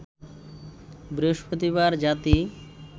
বৃহস্পতিবার জাতি